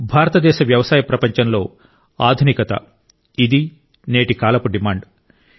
భారతదేశ వ్యవసాయ ప్రపంచంలో ఆధునికత ఇది నేటి కాలపు డిమాండ్